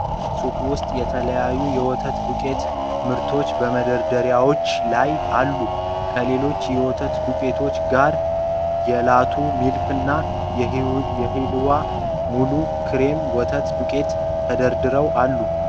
ሱቅ ውስጥ የተለያዩ የወተት ዱቄት ምርቶች በመደርደሪያዎች ላይ አሉ። ከሌሎች የወተት ዱቄቶች ጋር የላቶ ሚልክና የሂልዋ ሙሉ ክሬም ወተት ዱቄቶች ተደርድረው አሉ።